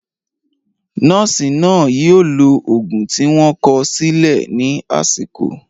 Nọ́ọ̀sì náà yóò lo òògùn tí wọ́n kọ sílẹ̀ ní àsìkò.